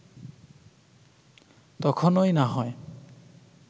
তখনই না হয়